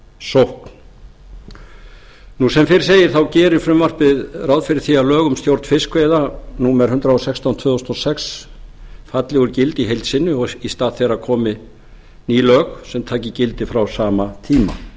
vörn í sókn sem fyrr segir þá gerir frumvarpið ráð fyrir því lög um stjórn fiskveiða númer hundrað og sextán tvö þúsund og sex falli úr gildi í heild sinni og í stað þeirra komi ný lög sem taki gildi frá sama tíma